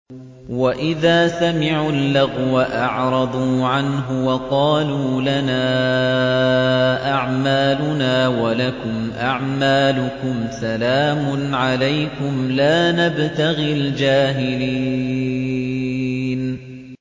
وَإِذَا سَمِعُوا اللَّغْوَ أَعْرَضُوا عَنْهُ وَقَالُوا لَنَا أَعْمَالُنَا وَلَكُمْ أَعْمَالُكُمْ سَلَامٌ عَلَيْكُمْ لَا نَبْتَغِي الْجَاهِلِينَ